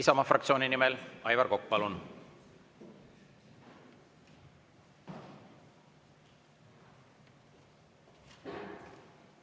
Isamaa fraktsiooni nimel Aivar Kokk, palun!